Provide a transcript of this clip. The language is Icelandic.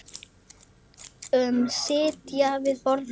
Sitja við borð